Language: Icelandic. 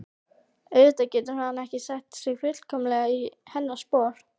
Auðvitað getur hann ekki sett sig fullkomlega í hennar spor.